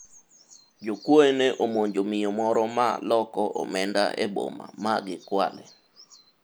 jokuoye ne omonjo miyo moro ma loko omenda e boma ma gikwale